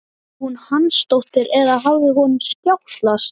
Var hún Hansdóttir eða hafði honum skjátlast?